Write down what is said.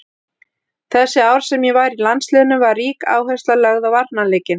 Þessi ár sem ég var í landsliðinu var rík áhersla lögð á varnarleikinn.